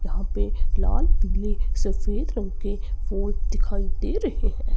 यहां पे लाल पीले सफेद रंग के फूल दिखाई दे रहे है।